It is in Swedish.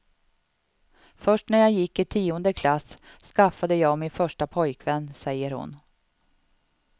Först när jag gick i tionde klass skaffade jag min första pojkvän, säger hon.